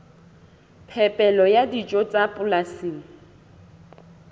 phepelo ya dijo tsa polasing